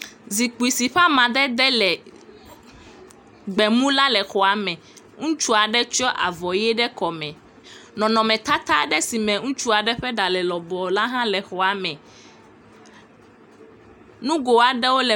Zikpi si ƒe amadede le gbemu la le xɔa me. Ŋutsua ɖe tsyɔ avɔ ʋe ɖe kɔme. Nɔnɔmetata aɖe si me ŋutsu aɖe ƒe ɖa le lɔbɔɔ la hã le xɔa me. Nugo aɖewo le xɔme